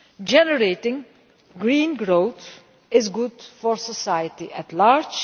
Generating green growth is good for society at large.